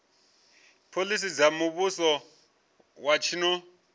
phoḽisi dza muvhuso wa tshino